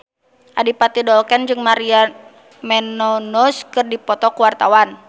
Adipati Dolken jeung Maria Menounos keur dipoto ku wartawan